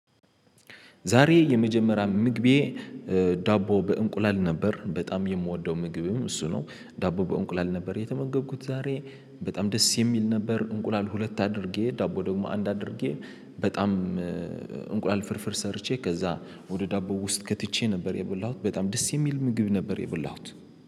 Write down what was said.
ዛሬ የመጀመሪያ ምግቤ ዳቦ በእንቁላል ነበር በጣም የምወደው ምግብም እሱ ነው ዳቦ በእንቁላል ነበር የተመገብኩት ዛሬ በጣም ደስ የሚል ነበር። እንቁላል ሁለት አድርጌ ዳቦ ደግሞ አንድ አድርጌ። በጣም እንቁላል ፍርፍር ሰርቼ ከዛ ወደ ዳቦ ውስጥ ከትቼ ነበር የበላሁት በጣም ደስ የሚል ምግብ ነበር የበላሁት